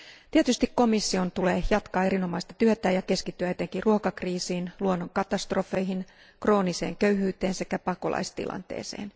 Tietysti komission tulee jatkaa erinomaista työtään ja keskittyä etenkin ruokakriisiin, luonnonkatastrofeihin, krooniseen köyhyyteen sekä pakolaistilanteeseen.